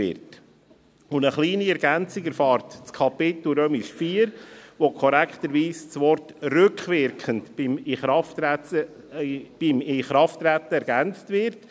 Eine kleine Ergänzung erfährt das Kapitel IV, in welchem korrekterweise das Wort «rückwirkend» beim Inkrafttreten ergänzt wird.